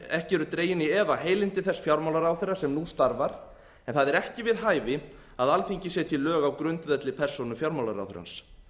ekki eru dregin í efa heilindi þess fjármálaráðherra sem nú starfar en það er ekki við hæfi að alþingi setji lög á grundvelli persónu fjármálaráðherrans